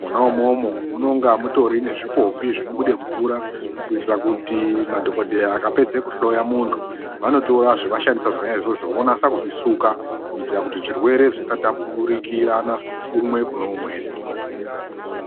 mwona umomo munotori nezvipombi zvinobude mvura kuitira kuti madhokodheya akapedze kuhloya mundu vanotora zvawashandisa zvona izvozvo wonasa kuzvisuka kuitira kuti zvirwere zvisatapukirana kumwe kune umweni.